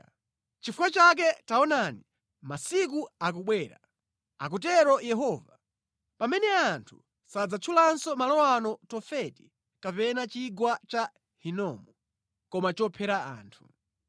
Nʼchifukwa chake taonani, masiku akubwera, akutero Yehova, pamene anthu sadzatchulanso malo ano kuti Tofeti kapena Chigwa cha Hinomu, koma Chophera anthu.